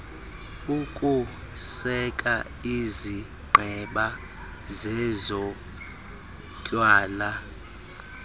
ukuseka izigqeba zezotywala